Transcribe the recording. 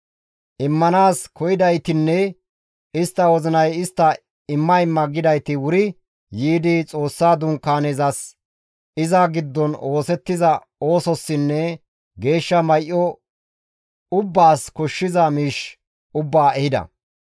Immanaas koyidaytinne istta wozinay istta imma imma gidayti wuri yiidi Xoossa dunkaanezas, iza giddon oosettiza oosossinne geeshsha may7o ubbaas koshshiza miish ubbaa ehida.